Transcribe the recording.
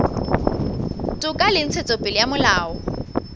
toka le ntshetsopele ya molao